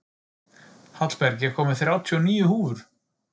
Hallberg, ég kom með þrjátíu og níu húfur!